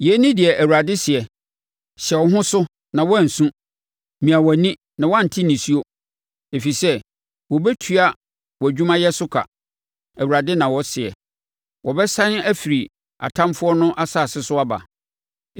Yei ne deɛ Awurade seɛ: “Hyɛ wo ho so na woansu mia wʼani na woante nisuo, ɛfiri sɛ wɔbɛtua wʼadwumayɛ so ka,” Awurade na ɔseɛ. “Wɔbɛsane afiri atamfoɔ no asase so aba.